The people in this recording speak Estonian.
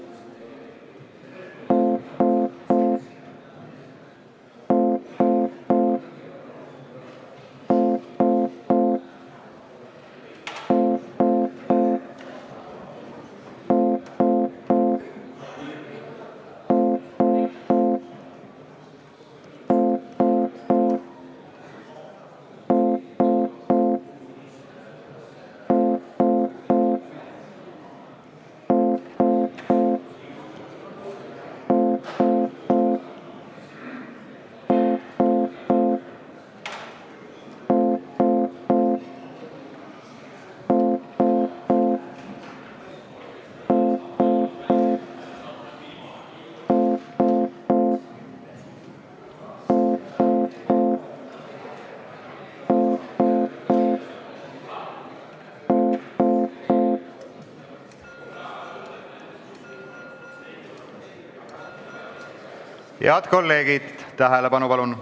Head kolleegid, palun tähelepanu!